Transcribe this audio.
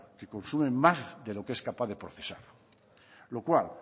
que consume más de lo es capaz de procesar lo cual